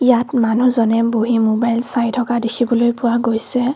ইয়াত মানুহজনে বহি ম'বাইল চাই থকা দেখিবলৈ পোৱা গৈছে।